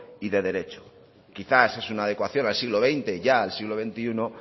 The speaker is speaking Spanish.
y de derecho y quizás es una adecuación al siglo veinte ya al siglo veintiuno